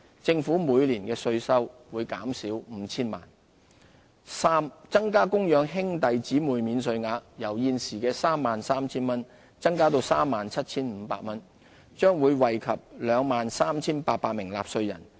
政府每年的稅收會減少 5,000 萬元；三增加供養兄弟姊妹免稅額，由現時 33,000 元增至 37,500 元，將惠及 23,800 名納稅人。